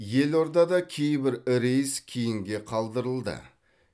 елордада кейбір рейс кейінге қалдырылды